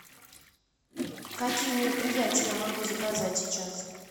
какие мероприятия я могу заказать сейчас